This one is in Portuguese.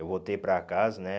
Eu voltei para casa, né?